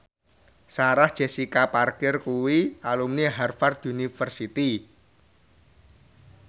Sarah Jessica Parker kuwi alumni Harvard university